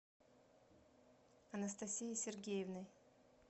анастасией сергеевной